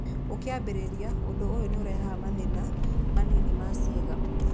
Ũkĩambĩrĩria, ũndũ ũyũ nĩ ũrehaga mathĩna manini ma ciĩga.